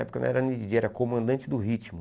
Porque eu não era nem díi djêi, eu era comandante do ritmo.